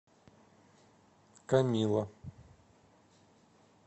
комилла